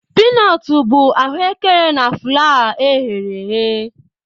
Piinotu bu ahuekere na fulawa ha na e ghere eghe